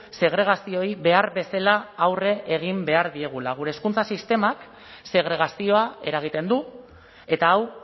segregazioei behar bezala aurre egin behar diegula gure hezkuntza sistemak segregazioa eragiten du eta hau